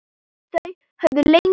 Þau höfðu lengi reynt.